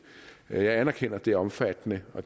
jeg anerkender at det er omfattende og